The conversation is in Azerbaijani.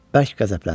Bərk qəzəbləndi.